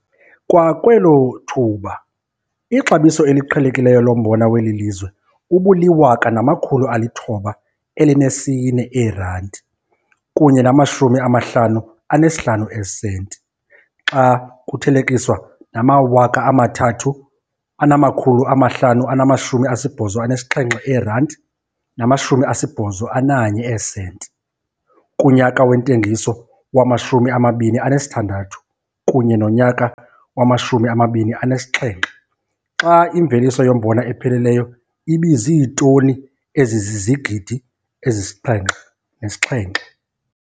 Kwakwelo thuba ixabiso eliqhelekileyo lombona weli lizwe ubuli-R1 904,55 xa kuthelekiswa nama-R3 587,81 kunyaka wentengiso wama-2016 kunye nonyaka wama-2017, xa imveliso yombona epheleleyo ibiziitoni ezizigidi ezisi-7,7.